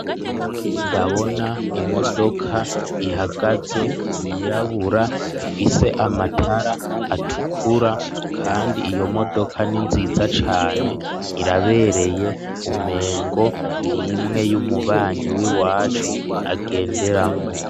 Ndabona imodoka ihagaze yirabura, ifise amatara atukura kandi iyo modoka n'inziza cane irabereye, umengo nimwe y'umubanyi w'iwacu agenderamwo.